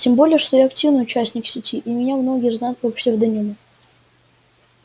тем более что я активный участник сети и меня многие знают по псевдониму